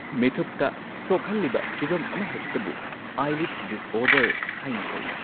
ꯃꯤꯠꯊꯨꯞꯇ ꯁꯣꯛꯍꯜꯂꯤꯕ ꯐꯤꯚꯝ ꯑꯃꯍꯦꯛꯇꯕꯨ ꯑꯥꯏꯂꯤꯗ ꯗꯤꯁꯑꯣꯔꯗꯔ ꯍꯥꯏꯅ ꯀꯧꯏ꯫